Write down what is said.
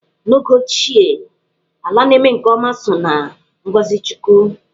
N'oge ochie, ala na-eme nke ọma so na ngọzị chukwu.